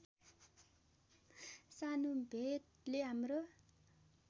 सानो भेटले हाम्रो